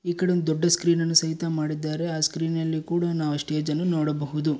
ಈಕಡೆ ಒಂದ್ ದೊಡ್ದು ಸ್ಕ್ರೀನ್ ಅನ್ನ ಸಹಿತ ಮಾಡಿದ್ದಾರೆ ಆ ಸ್ಕ್ರೀನ್ ಅಲ್ಲಿ ಕೂಡ ನಾವ್ ಆ ಸ್ಟೇಜ್ ಅನ್ನು ನೋಡಬಹುದು.